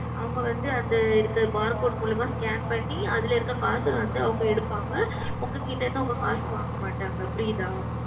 அவர்கள் அந்த இந்த Barcode மூலமாக Scan செய்து அதில் இருக்கும் காசு வந்து அவர்கள் எடுப்பார்கள் உங்களிடம் இருந்து உங்கள் காசு வாங்க மாட்டார்கள் புரிகிறதா